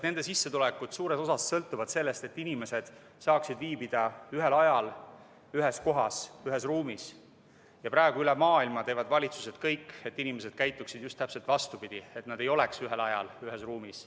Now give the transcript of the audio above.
Nende sissetulekud suures osas sõltuvad sellest, et inimesed saaksid viibida ühel ajal ühes kohas, ühes ruumis, aga praegu üle maailma teevad valitsused kõik, et inimesed käituksid just vastupidi, et nad ei oleks ühel ajal ühes ruumis.